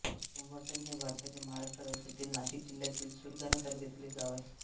उंबरठण हे भारताच्या महाराष्ट्र राज्यातील नाशिक जिल्ह्यातील सुरगाणा तालुक्यातील एक गाव आहे